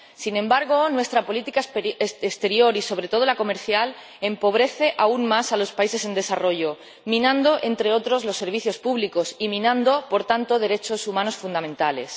Sin embargo, nuestra política exterior y, sobre todo, la comercial empobrece aún más a los países en desarrollo minando, entre otros, los servicios públicos y minando, por tanto, derechos humanos fundamentales.